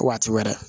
Waati wɛrɛ